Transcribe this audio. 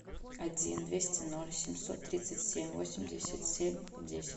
один двести ноль семьсот тридцать семь восемьдесят семь десять